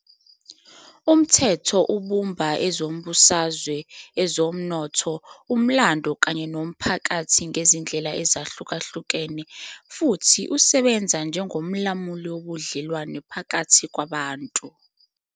Umthetho ubumba ezombusazwe, ezomnotho, umlando kanye nomphakathi ngezindlela ezahlukahlukene futhi usebenza njengomlamuli wobudlelwano phakathi kwabantu.